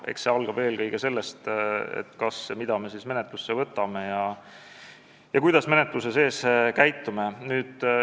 Eks see alga sellest, kas ja mida me menetlusse võtame ja kuidas menetluse jooksul käitume.